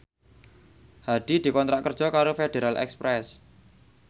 Hadi dikontrak kerja karo Federal Express